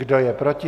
Kdo je proti?